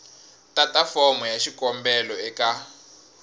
tata fomo ya xikombelo eka